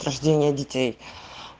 рождение детей